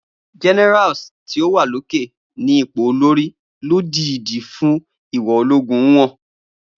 Generals ni o wa oke-ni ipo olori, lodidi fun ìwò ologun nwon. Mirza.